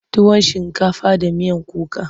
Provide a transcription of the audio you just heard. tuwon shinkafa da miyan kuka.